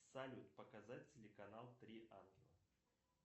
салют показать телеканал три ангела